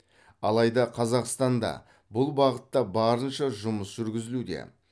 алайда қазақстанда бұл бағытта барынша жұмыс жүргізілуде